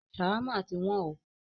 Ṣawama tí wọ́n o.